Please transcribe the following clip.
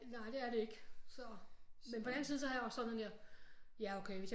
Nej det er det ikke så men på den anden side så har jeg det også sådan her ja okay hvis